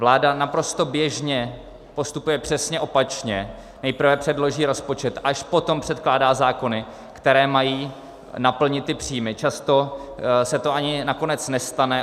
Vláda naprosto běžně postupuje přesně opačně - nejprve předloží rozpočet, až potom předkládá zákony, které mají naplnit ty příjmy, často se to ani nakonec nestane.